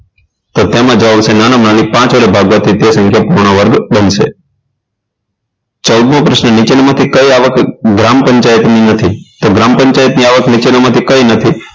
તેમાં જવાબ આવશે નાનામાં નાની પાંચ વડે ભાગવાથી તે સંખ્યા પૂર્ણવર્ગ બનશે ચૌદમો પ્રશ્ન નીચેનામાંથી કઈ આવક ગ્રામ પંચાયતની નથી તો ગ્રામ પંચાયતની આવક નીચેનામાંથી કઈ નથી